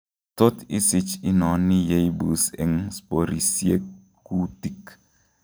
Tot isich inoni yeibus eng sporisiiek kuutik